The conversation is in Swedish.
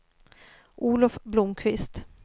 Olof Blomqvist